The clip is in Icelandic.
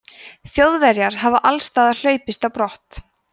þjóðverjar hafi allsstaðar hlaupist á brott